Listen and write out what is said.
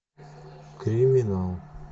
криминал